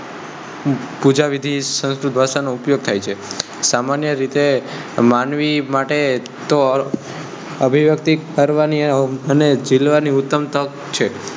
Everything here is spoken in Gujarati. પૂજા વિધિ માં સંસ્કૃત ભાષા નો ઉપયોગ થાય છે સામાન્ય રીતે માનવી માટે તો અભિવ્યક્તિ કરવાની અને જીલવાની ઉત્તમ તક છે.